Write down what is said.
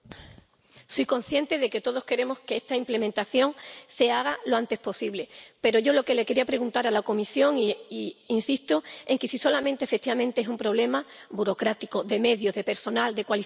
Soy consciente de que todos queremos que esta implementación se haga lo antes posible, pero yo quería preguntar a la Comisión si es solo, efectivamente, un problema burocrático, de medios, de personal, de cualificación.